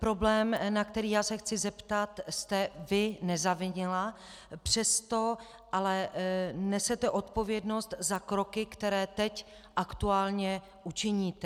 Problém, na který já se chci zeptat, jste vy nezavinila, přesto ale nesete odpovědnost za kroky, které teď aktuálně učiníte.